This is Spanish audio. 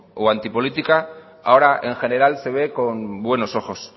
o anti política ahora en general se ve con buenos ojos